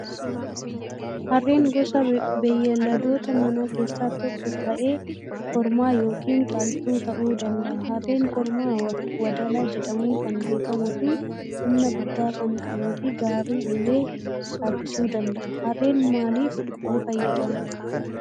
Harreen gosa beeyladoota manaa keessaa tokko ta'ee kormaa yookaan dhaltuu ta'uu danda'a. Harreen kormaa wadala jedhamuun kan beekamuu fi humna guddaa kan qabuu fi gaarii illee harkisuu danda'a. Harreen maaliif nu fayyada?